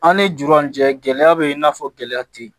An ni jɔn cɛ gɛlɛya be yen i n'a fɔ gɛlɛya te yen